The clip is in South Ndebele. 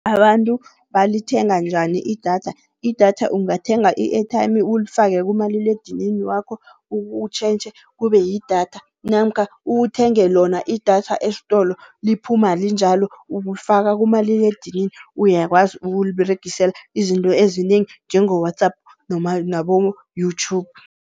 Abantu balithenga njani idatha? Idatha ungathenga i-airtime ulifake kumaliledinini wakho, utjhentjhe kube yidatha. Namkha uthenge lona idatha estolo, liphuma linjalo ulifaka kumaliledinini. Uyakwazi ukuliberegisela izinto ezinengi njengo-WhatsApp nabo-YouTube.